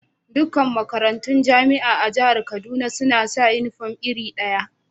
Dukan makarantun Jama'a a Jihar Kaduna suna sa uniform iri daya.